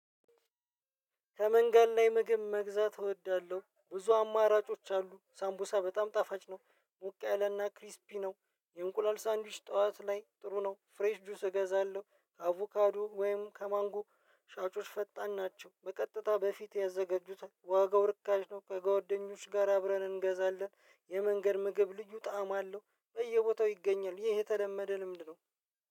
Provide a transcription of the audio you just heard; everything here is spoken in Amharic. ከመንገድ ላይ ምግብ መግዛት እወዳለሁ ብዙ አማራጮች አሉ ሳምቡሳ በጣም ጣፋጭ ነው ሞቅ ያለና ክሪስፒ ነው የእንቁላል ሳንዱች ጠዋት ላይ ጥሩ ነው። ፍሬሽ ጁስ እገዛለው አቮካዶ ወይም ከማንጎ ሻጮች ፈጣን ናቸው በቀጥታ በፊትህ ያዘጋጁታል ዋጋው ርካሽ ነው። ከጓደኞች ጋር አብረን እንገዛለን የመንገድ ምግብ ልዩ ጣዕም አለው። በየቦታው ይገኛል ይህ የተለመደ ልምድ ነው።